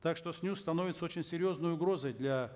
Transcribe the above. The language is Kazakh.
так что снюс становится очень серьезной угрозой для